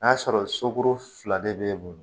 N'a sɔrɔ so kuru fila de be bolo